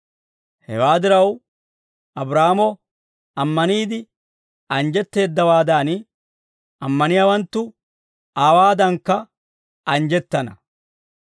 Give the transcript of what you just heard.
Hewaa diraw, Abraahaamo ammaniide anjjetteeddawaadan, ammaniyaawanttu aawaadakka anjjettana.